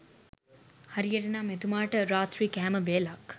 හරියට නම් එතුමාට රාත්‍රී කෑම වේලක්